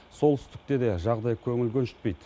солтүстікте де жағдай көңіл көншітпейді